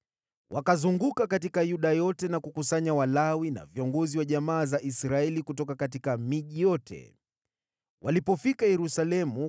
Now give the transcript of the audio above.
Wakazunguka katika Yuda yote na kukusanya Walawi na viongozi wa jamaa za Israeli kutoka miji yote. Walipofika Yerusalemu,